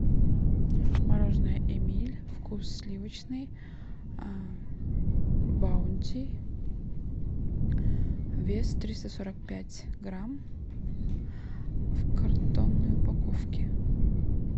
мороженое эмиль вкус сливочный баунти вес триста сорок пять грамм в картонной упаковке